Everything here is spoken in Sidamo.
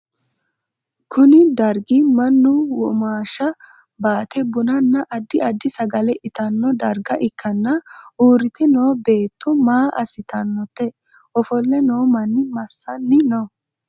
Kunni dargi Manu womaasha baate bunnanna addi addi sagale itanno darga ikanna uurite noo beetto maa asitannote ofole noo manni masanni no?